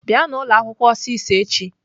Bịanụ ụlọakwụkwọ ọsịsọ echi!